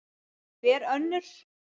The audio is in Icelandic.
Hver önnur?